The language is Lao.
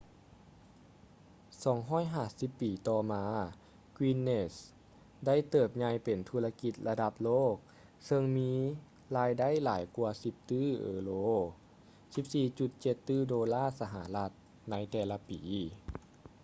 250 ປີຕໍ່ມາ guinness ໄດ້ເຕີບໃຫຍ່ເປັນທຸລະກິດລະດັບໂລກເຊິ່ງມີລາຍໄດ້ຫຼາຍກວ່າ 10 ຕື້ເອີໂຣ 14,7 ຕື້ໂດລາສະຫະລັດ ໃນແຕ່ລະປີ